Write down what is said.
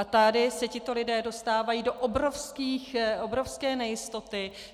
A tady se tito lidé dostávají do obrovské nejistoty.